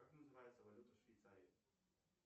как называется валюта в швейцарии